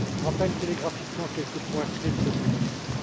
Je rappellerai télégraphiquement quelques points clés de cette directive.